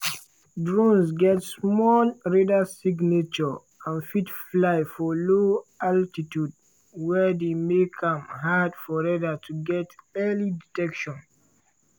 drones get small radar signature and fit fly for low altitudes wey dey make am hard for radar to get early detection.